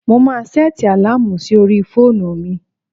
Mo máa sẹ́ẹ̀tì àláàmù sí orí fóònù mi.